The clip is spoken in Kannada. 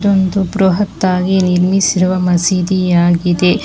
ಒಂದು ಬೃಹತ್ ಆಗಿ ನಿರ್ಮಿಸಿರುವ ಮಸೀದಿಯಾಗಿದೆ.